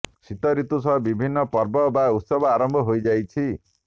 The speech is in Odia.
ଶୀତ ଋତୁ ସହ ବିଭିନ୍ନ ପର୍ବ ବା ଉତ୍ସବ ଆରମ୍ଭ ହୋଇଯାଇଛି